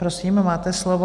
Prosím, máte slovo.